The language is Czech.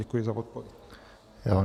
Děkuji za odpověď.